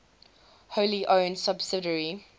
wholly owned subsidiary